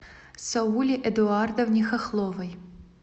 сауле эдуардовне хохловой